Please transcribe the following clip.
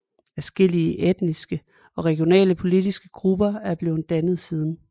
Adskillige etniske og regionale politiske grupper er blevet dannet siden